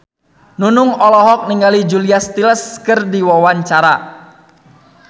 Nunung olohok ningali Julia Stiles keur diwawancara